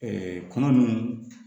kɔnɔ nunnu